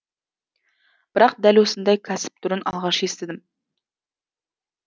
бірақ дәл осындай кәсіп түрін алғаш естідім